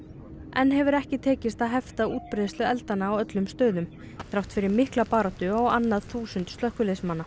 enn hefur ekki tekist að hefta útbreiðslu eldanna á öllum stöðum þrátt fyrir mikla baráttu á annað þúsund slökkviliðsmanna